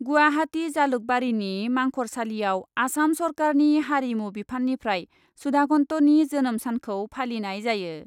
गुवाहाटी जालुकबारिनि मांखरसालियाव आसाम सरकारनि हारिमु बिफाननिफ्राय सुधाकान्तनि जोनोम सानखौ फालिनाय जायो ।